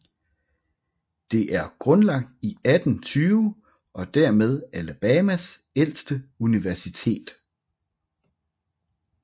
Det er grundlagt i 1820 og dermed Alabamas ældste universitet